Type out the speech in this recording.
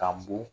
K'an bon